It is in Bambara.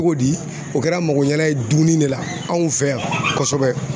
Cogo di o kɛra mako ɲɛna ye dumuni de la, anw fɛ yan kosɛbɛ .